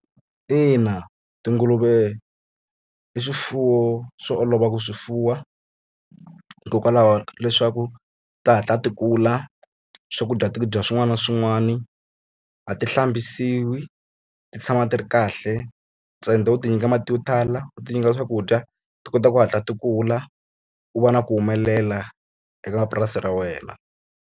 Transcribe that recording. Ina tinguluve i swifuwo swo olova ku swi fuwa, hikokwalaho leswaku ti hatla ti kula. Swakudya ti dya swin'wana na swin'wana, a ti hlambisiwi, ti tshama ti ri kahle. Ntsena u ti nyika mati yo tala, u ti nyika swakudya ti kota ku hatla ti kula, u va na ku humelela eka mapurasi ra wena.